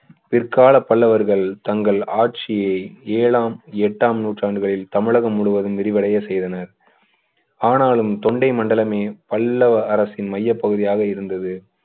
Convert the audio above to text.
copy அவர்கள் தங்கள் ஆட்சியை ஏழாம் எட்டாம் நூற்றாண்டுகளில் தமிழக முழுவதும் விரிவடைய செய்தனர் ஆனாலும் தொண்டை மண்டலமே பல்லவரசின் மையப் பகுதியாக இருந்தது